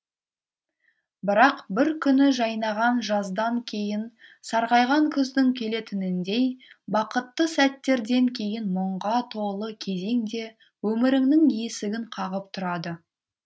бірақ бір күні жайнаған жаздан кейін сарғайған күздің келетініндей бақытты сәттерден кейін мұңға толы кезең де өміріңнің есігін қағып тұрады